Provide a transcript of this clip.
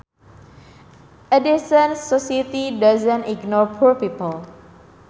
A decent society does not ignore poor people